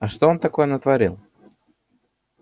а что он такое натворил